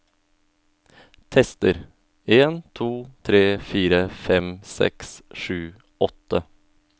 Tester en to tre fire fem seks sju åtte